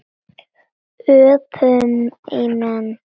Ég sagði það nú ekki.